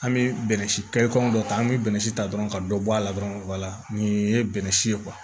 An bɛ bɛnɛ si kɔngɔ dɔ ta an bɛ bɛnɛ si ta dɔrɔn ka dɔ bɔ a la dɔrɔn wala nin ye bɛnɛ si ye